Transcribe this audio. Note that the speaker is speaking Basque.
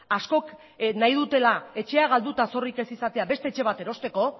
askok nahi dutela etxea galdu eta zorrik ez izatea beste etxe bat erosteko